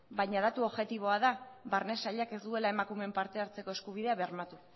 baina datu objektiboa da barne sailak ez duela emakumeen parte hartzeko eskubidea bermatu